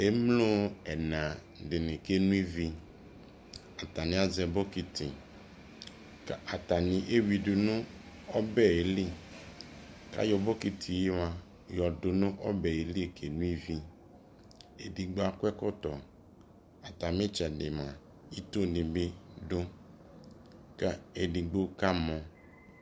ɛmlɔ ɛna dini kɛnɔ ivi, atani azɛ bɔkiti kʋ atani ɛwidʋ nʋ ɔbɛli kʋ ayɔ bɔkitiɛ mʋa yɔdʋ nʋ ɔbɛli kɛ nɔ vi, ɛdigbɔ akɔ ɛkɔtɔ, atami ɛtsɛdi mʋa itɔɔ dini bi dʋ kʋ ɛdigbɔ kamɔ